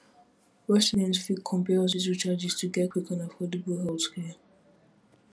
residents fit compare hospital charges to get quick and affordable healthcare